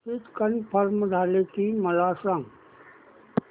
ticket confirm झाले की मला सांग